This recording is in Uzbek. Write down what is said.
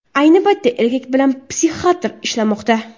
Ayni paytda erkak bilan psixiatr ishlamoqda.